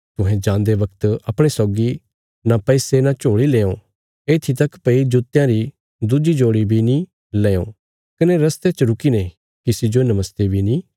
तुहें जान्दे बगत अपणे सौगी न पैसे न झोली लेयां येत्थी तक भई जुत्तेयां री दुज्जी जोड़ी बी न लेयों कने रस्ते च रुकीने किसी जो नमस्ते बी नीं करयां